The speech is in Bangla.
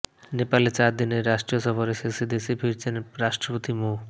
নেপালে চার দিনের রাষ্ট্রীয় সফর শেষে দেশে ফিরেছেন রাষ্ট্রপতি মো